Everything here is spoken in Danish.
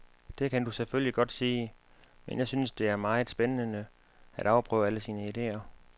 Det kan du selvfølgelig godt sige, men jeg synes det er meget spændende at afprøve alle sine idéer.